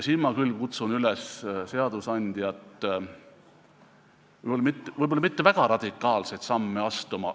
Ma kutsun seadusandjat üles võib-olla mitte väga radikaalseid samme astuma.